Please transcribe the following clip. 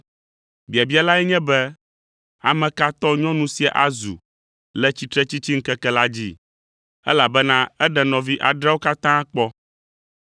Biabia lae nye be, ame ka tɔ nyɔnu sia azu le tsitretsitsiŋkeke la dzi? Elabena eɖe nɔvi adreawo katã kpɔ!”